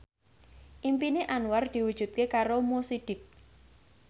impine Anwar diwujudke karo Mo Sidik